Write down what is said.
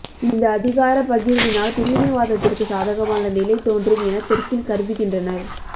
இந்த அதிகாரப் பகிர்வினால் பிரிவினைவாதத்திற்கு சாதகமான நிலை தோன்றும் என தெற்கில் கருதுகின்றனர்